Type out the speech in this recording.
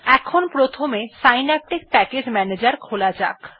এখন প্রথমে Synaptic package manager খোলা যাক